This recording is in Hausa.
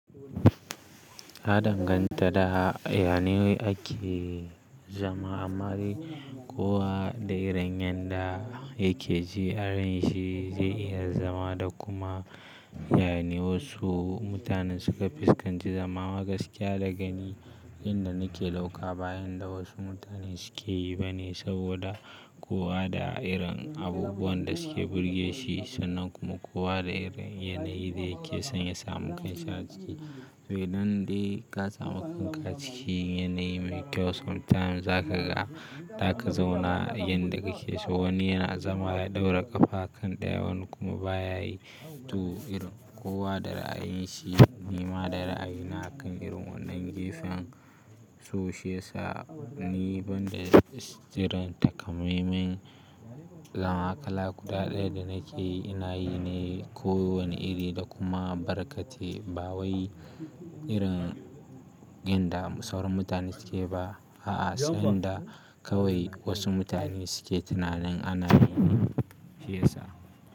Ta ɗanganta da yane ake zama, amma dai kowa da irin yanda yake ji, arin shi zai iya zama da kuma yayane wassu mutanen suka fuskanci zama amma gaskiya daga ni. Inda nake dauka ba yanda wasu mutane suke yi ba ne, saboda kowa da irin abubuwan da suke burge shi sannan kuma kowa da irin yanayi da yake son ya samu kanshi a ciki. To, idan dai ka samu kanka a cikin yanayi mai kyau sometimes zaka ga za ka zauna yanda kake so. Wani yana zama ya ɗaura ƙafa a kan ɗayan kuma baya yi. To, irin kowa da ra'ayin shi. Ni ma da ra'ayi na akan irin wannan gefen so shi ya sa, ni banda jiran takamaiman lamakala guda ɗaya da nake yi, ina yi ne kowane iri da kuma barkate. Ba wai irin yanda sauran mutane suke ba. A'a sanda kawai wasu mutane suke tunanin ana yi ne shi ya sa.